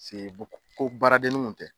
Paseke ko baaradeni kun tɛ